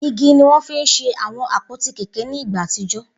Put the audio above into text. Igi ni wọ́n fi ń ṣe àwọn àpótí kẹ̀kẹ́ ní ìgbà àtijọ́